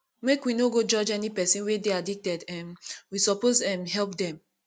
make we no go judge any pesin wey dey addicted um we suppose um help dem